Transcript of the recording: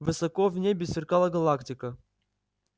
высоко в небе сверкала галактика